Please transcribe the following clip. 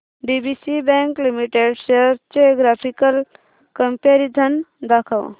DCB bank limited shares चे graphical comparison दाखव